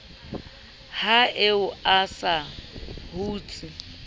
ha eo a sa hutse